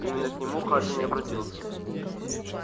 именно к нему хардин и обратился